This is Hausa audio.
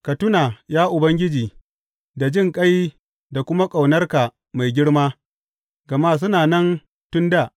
Ka tuna, ya Ubangiji da jinƙai da kuma ƙaunarka mai girma, gama suna nan tun dā.